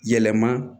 Yɛlɛma